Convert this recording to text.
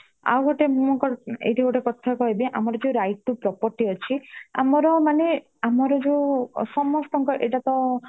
ଆଉ ଗୋଏ ,ଇଂ ଏଇଠି ଗୋଟେ କଥା କହିବି ଆମର ଯୋଉ right to property ଅଛି ଆମର ଯୋଉ ମାନେ ଆମର ସମସ୍ତଙ୍କର ଏଇଟା ତ